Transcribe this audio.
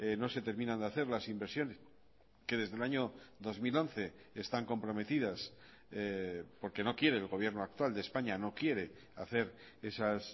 no se terminan de hacer las inversiones que desde el año dos mil once están comprometidas porque no quiere el gobierno actual de españa no quiere hacer esas